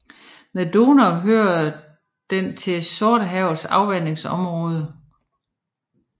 Med Donau hører den til Sortehavets afvandingsområde